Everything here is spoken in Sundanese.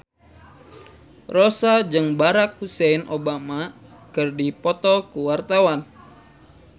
Rossa jeung Barack Hussein Obama keur dipoto ku wartawan